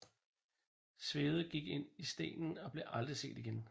Svegde gik ind i stenen og blev aldrig set igen